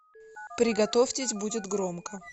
приготовьтесь будет громко